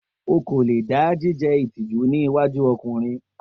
O ko le da jije itiju ni iwaju ọkunrin.